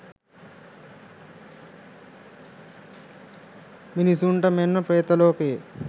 මිනිසුන්ට මෙන් ප්‍රේතලෝකයේ